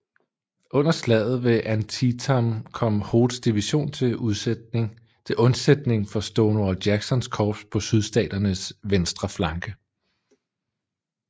Under slaget ved Antietam kom Hoods division til undsætning for Stonewall Jacksons korps på Sydstaternes venstre flanke